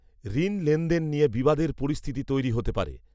ঋন লেনদেন নিয়ে বিবাদের পরিস্থিতি তৈরি হতে পারে